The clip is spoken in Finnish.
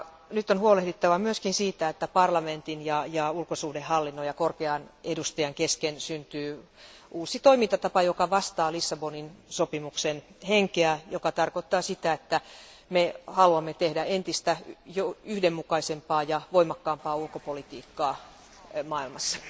Nyt on huolehdittava myös siitä, että parlamentin ja ulkosuhdehallinnon ja korkean edustajan kesken syntyy uusi toimintatapa, joka vastaa Lissabonin sopimuksen henkeä, mikä tarkoittaa sitä, että me haluamme tehdä entistä yhdenmukaisempaa ja voimakkaampaa ulkopolitiikkaa maailmassa.